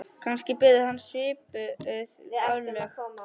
Kannski biðu hans svipuð örlög.